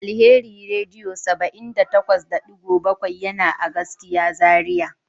Alheri radio 78.7 yana a gaskiya Zaria.